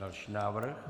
Další návrh.